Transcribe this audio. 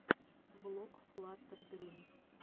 влог флаттер грин